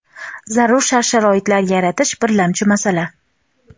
zarur shart-sharoitlar yaratish birlamchi masala.